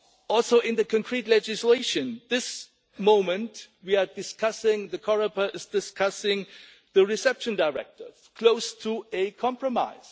also in the concrete legislation? This moment we are discussing, the Coreper is discussing the Reception Directive close to a compromise.